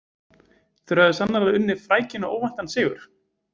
Þeir höfðu sannarlega unnið frækinn og óvæntan sigur.